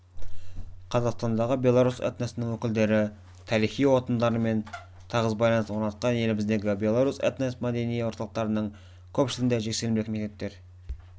қазақстандағы белорус этносының өкілдері тарихи отандарымен тығыз байланыс орнатқан еліміздегі белорус этно-мәдени орталықтарының көпшілігінде жексенбілік мектептер